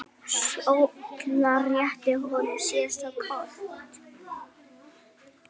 Solla rétti honum síðasta kort.